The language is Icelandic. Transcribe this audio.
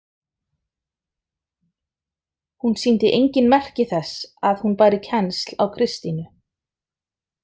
Hún sýndi engin merki þess að hún bæri kennsl á Kristínu.